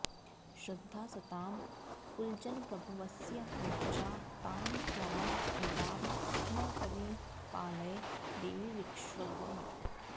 श्रद्धा सतां कुलजनप्रभवस्य लज्जा तां त्वां नताः स्म परिपालय देवि विश्वम्